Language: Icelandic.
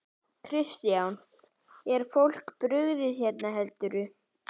Kristján: Er fólki brugðið hérna, heldurðu?